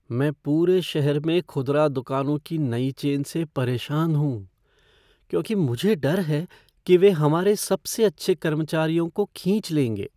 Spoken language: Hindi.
मैं पूरे शहर में खुदरा दुकानों की नई चेन से परेशान हूँ, क्योंकि मुझे डर है कि वे हमारे सबसे अच्छे कर्मचारियों को खींच लेंगे।